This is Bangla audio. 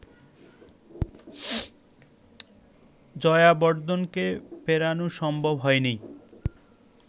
জয়াবর্ধনেকে ফেরানো সম্ভব হয়নি